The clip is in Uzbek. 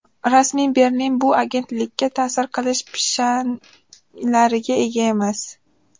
Rasmiy Berlin bu agentlikka ta’sir qilish pishanglariga ega emas.